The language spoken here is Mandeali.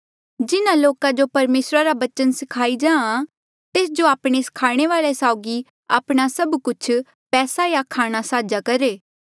जिन्हा लोका जो परमेसरा रा बचना सखाई जाहाँ तेस जो आपणे स्खाणे वाले साउगी आपणा सभ कुछ पैसा या खाणा साझा करहे